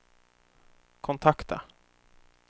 kontakta